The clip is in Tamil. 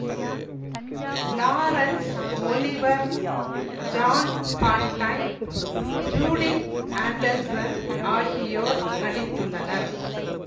Lawrence Olivier Joan Fontaine Judith Anderson ஆகியோர் நடித்துள்ளனர்